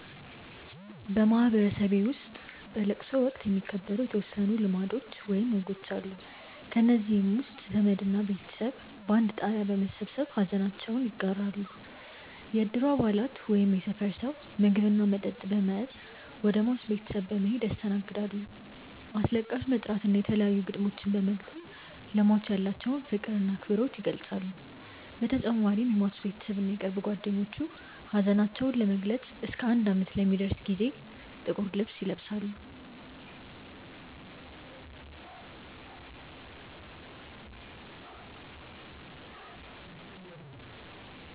በማህበረሰቤ ውስጥ በለቅሶ ወቅት የሚከበሩ የተወሰኑ ልማዶች ወይም ወጎች አሉ። ከእነዚህም ውስጥ ዘመድ እና ቤተሰብ በአንድ ጣሪያ በመሰብሰብ ሐዘናቸውን ይጋራሉ፣ የእድሩ አባላት ወይም የሰፈር ሰው ምግብ እና መጠጥ በመያዝ ወደ ሟች ቤተሰብ በመሔድ ያስተናግዳሉ፣ አስለቃሽ በመጥራት እና የተለያዩ ግጥሞችን በመግጠም ለሟች ያላቸውን ፍቅር እና አክብሮት ይገልፃሉ በተጨማሪም የሟች ቤተሰብ እና የቅርብ ጓደኞቹ ሀዘናቸውን ለመግለፅ እስከ አንድ አመት ለሚደርስ ጊዜ ጥቁር ልብስ ይለብሳሉ።